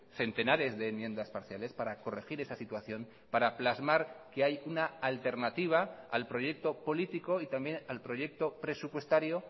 centenares de enmiendas parciales para corregir esa situación para plasmar que hay una alternativa al proyecto político y también al proyecto presupuestario